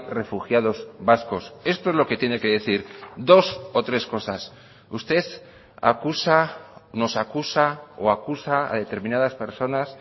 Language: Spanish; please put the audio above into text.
refugiados vascos esto es lo que tiene que decir dos o tres cosas usted acusa nos acusa o acusa a determinadas personas